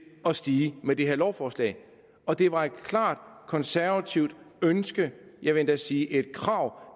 at stige med det her lovforslag og det var et klart konservativt ønske jeg vil endda sige et krav